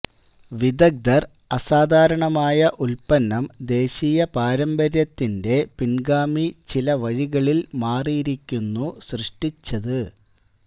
വിദഗ്ധർ അസാധാരണമായ ഉൽപ്പന്നം ദേശീയ പാരമ്പര്യത്തിന്റെ പിൻഗാമി ചില വഴികളിൽ മാറിയിരിക്കുന്നു സൃഷ്ടിച്ചത്